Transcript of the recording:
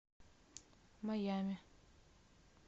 майами